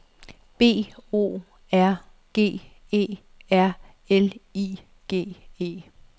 B O R G E R L I G E